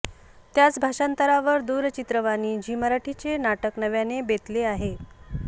त्याच भाषांतरावर दूरचित्रवाणी झी मराठीचे नाटक नव्याने बेतले आहे